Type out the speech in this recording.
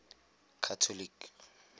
catholic